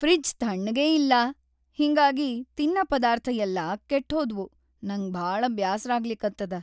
Fridge ಥಣ್ಣಗೇ ಇಲ್ಲಾ ಹಿಂಗಾಗಿ ತಿನ್ನ ಪದಾರ್ಥ್‌ ಯೆಲ್ಲಾ ಕೆಟ್ಹೋದ್ವು‌, ನಂಗ್‌ ಭಾಳ ಬ್ಯಾಸರಾಗ್ಲಿಗತ್ತದ.